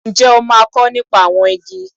Ǹjẹ́ o máa kọ́ nípa àwọn igi?